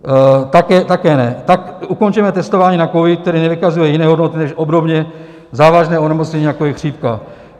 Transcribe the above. Také ne, tak ukončeme testování na covid, který nevykazuje jiné hodnoty než obdobně závažné onemocnění, jako je chřipka.